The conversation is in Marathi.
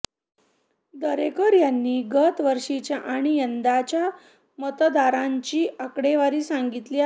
दरेकर यांनी गत वर्षीच्या आणि यंदाच्या मतदारांची आकडेवारी सांगितली आहे